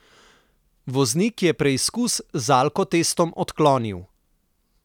Voznik je preizkus z alkotestom odklonil.